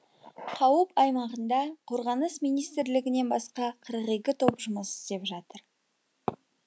қауіп аймағында қорғаныс министрлігінен басқа қырық екі топ жұмыс істеп жатыр